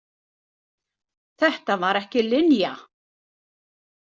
Þetta var ekki Linja.